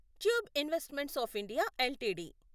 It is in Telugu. tube investments of India LTD